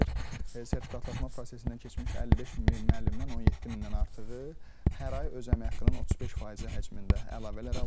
Sertifikatlaşma prosesindən keçmiş 55 min müəllimdən 17 mindən artığı hər ay öz əmək haqqının 35 faizi həcmində əlavələr alırlar.